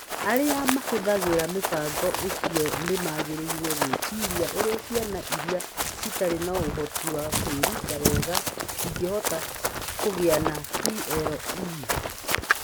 Arĩa mahũthagĩra mũbango ũcio nĩ magĩrĩirũo gwĩciria ũrĩa ciana iria citarĩ na ũhoti wa kwĩruta wega cingĩhota kũgia na VLEs.